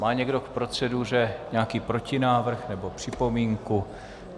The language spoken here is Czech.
Má někdo k proceduře nějaký protinávrh nebo připomínku?